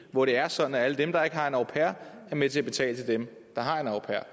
hvor det er sådan at alle dem der ikke har en au pair er med til at betale til dem der har en au pair er